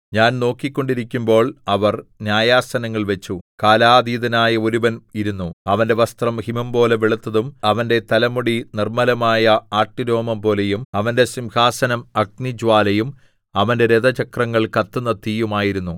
ഞാൻ നോക്കിക്കൊണ്ടിരിക്കുമ്പോൾ അവർ ന്യായാസനങ്ങൾ വച്ചു കാലാതീതനായ ഒരുവൻ ഇരുന്നു അവന്റെ വസ്ത്രം ഹിമംപോലെ വെളുത്തതും അവന്റെ തലമുടി നിർമ്മലമായ ആട്ടുരോമംപോലെയും അവന്റെ സിംഹാസനം അഗ്നിജ്വാലയും അവന്റെ രഥചക്രങ്ങൾ കത്തുന്ന തീയും ആയിരുന്നു